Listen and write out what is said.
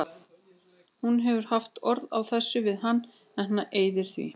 Hún hefur haft orð á þessu við hann en hann eyðir því.